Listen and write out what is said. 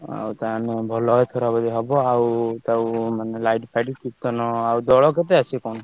ଆଉ ତାହାଣେ ଭଲ ଏଥର ବୋଧେ ହବ ଆଉ ତାହେଲେ light ଫାଇଟ କୀର୍ତ୍ତନ ଆଉ ଦୋଳ କେତେ ଆସିବେ କଣ।